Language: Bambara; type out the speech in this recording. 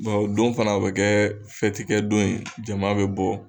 o don fana o bɛ kɛ fɛtikɛ don ye jama bɛ bɔ.